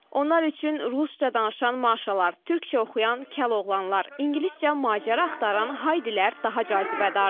Onlar üçün rusca danışan Maşalar, türkcə oxuyan Kəloğlanlar, ingiliscə macəra axtaran Haydilər daha cazibədardır.